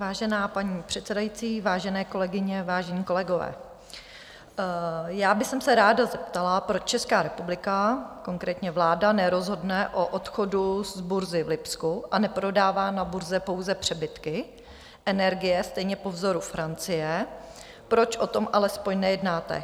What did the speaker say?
Vážená paní předsedající, vážené kolegyně, vážení kolegové, já bych se ráda zeptala, proč Česká republika, konkrétně vláda, nerozhodne o odchodu z burzy v Lipsku a neprodává na burze pouze přebytky energie stejně po vzoru Francie, proč o tom alespoň nejednáte.